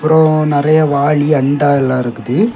அப்புறம் நிறைய வாளி அண்டா எல்லாம் இருக்குது.